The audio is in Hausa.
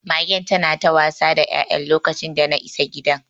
Magen tana ta wasa da ya'yan lokacin dana isa gidan.